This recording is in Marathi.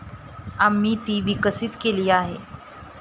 आम्ही ती विकसित केली आहे.